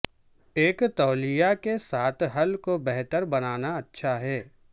ایک تولیہ کے ساتھ حل کو بہتر بنانا اچھا ہے